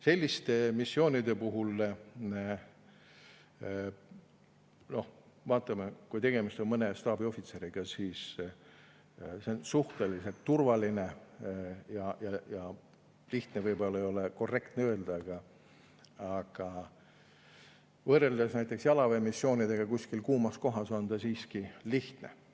Selliste missioonide puhul, kus on tegemist mõne staabiohvitseriga, me vaatame, et suhteliselt turvaline ja … "Lihtne" ei ole võib-olla korrektne öelda, kuid võrreldes näiteks jalaväemissioonidega kuskil kuumas kohas on see siiski lihtsam.